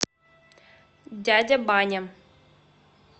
дядя баня